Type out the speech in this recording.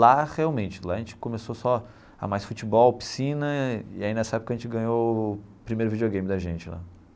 Lá, realmente, lá a gente começou só a mais futebol, piscina, e aí nessa época a gente ganhou o primeiro videogame da gente lá.